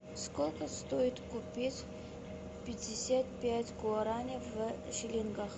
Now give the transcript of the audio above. сколько стоит купить пятьдесят пять гуарани в шиллингах